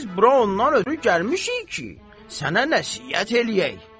Biz bura ondan ötrü gəlmişik ki, sənə nəsihət eləyək.